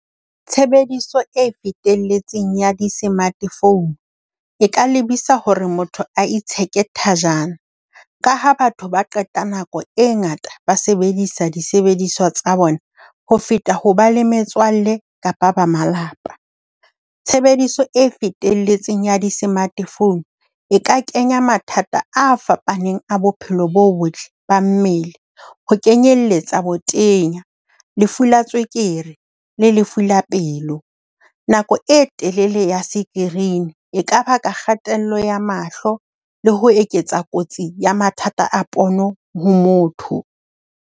Tshebediso e fetelletseng ya di-smart phone e ka lebisa hore motho a itsheke thajana, ka ha batho ba qeta nako e ngata ba sebedisa disebediswa tsa bona ho feta ho ba le metswalle kapa ba malapa. Tshebediso e fetelletseng ya di-smartphone e ka kenya mathata a fapaneng a bophelo bo botle ba mmele, ho kenyelletsa botenya, lefu la tswekere, le lefu la pelo. Nako e telele ya screen e ka baka kgatello ya mahlo, le ho eketsa kotsi ya mathata a pono ho motho.